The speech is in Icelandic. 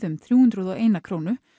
um þrjú hundruð og eina krónu